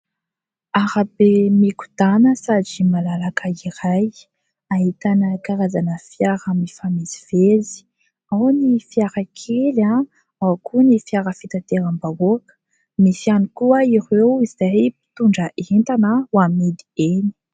Arabe mikodàna sady malalaka iray, ahitana karazana fiara mifamezivezy : ao ny fiara kely, ao koa ny fiara fitateram-bahoaka, misy ihany koa ireo izay mpitondra entana ho amidy eny.